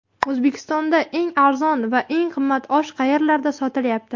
O‘zbekistonda eng arzon va eng qimmat osh qayerlarda sotilyapti?.